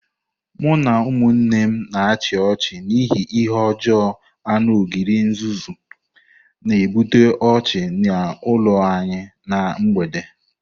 Mụ na ụmụnne m na-achị ọchị n'ihi ihe ọjọọ anu ogre nzuzu, na-ebute ọchị n'ụlọ anyị ná mgbede.